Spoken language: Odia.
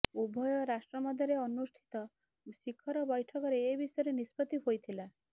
ଉଭୟ ରାଷ୍ଟ୍ର ମଧ୍ୟରେ ଅନୁଷ୍ଠିତ ଶିଖର ବୈଠକରେ ଏ ବିଷୟରେ ନିଷ୍ପତ୍ତି ହୋଇଥିଲା